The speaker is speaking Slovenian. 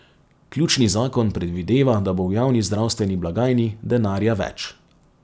Ključni zakon predvideva, da bo v javni zdravstveni blagajni denarja več.